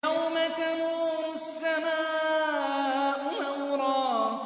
يَوْمَ تَمُورُ السَّمَاءُ مَوْرًا